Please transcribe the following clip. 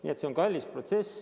See on kallis protsess.